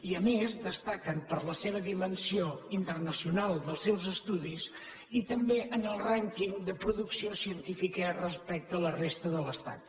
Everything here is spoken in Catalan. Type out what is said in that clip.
i a més destaquen per la seva dimensió internacional dels seus estudis i tam·bé en el rànquing de producció científica respecte a la resta de l’estat